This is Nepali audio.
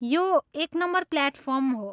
यो एक नम्बर प्लेटफार्म हो।